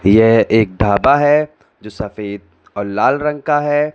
यह एक ढाबा है जो सफेद और लाल रंग का है।